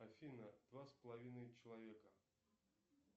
афина два с половиной человека